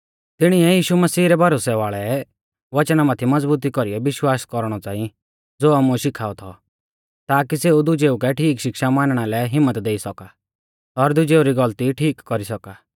तिणीऐ यीशु मसीह रै भरोसै वाल़ै वचना माथै मज़बुती कौरीऐ विश्वास कौरणौ च़ांई ज़ो आमुऐ शिखाऔ थौ ताकी सेऊ दुजेऊ कै ठीक शिक्षा मानणा लै हिम्मत देई सौका और दुजेऊ री गलती ठीक कौरी सौका